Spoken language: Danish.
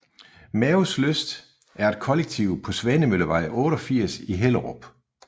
Maos Lyst er et kollektiv på Svanemøllevej 88 i Hellerup